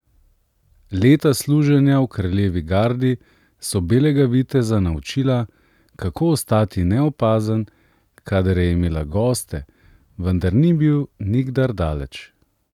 Leta služenja v kraljevi gardi so belega viteza naučila, kako ostati neopazen, kadar je imela goste, vendar ni bil nikdar daleč.